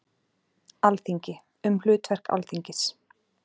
Alþingi- Um hlutverk Alþingis.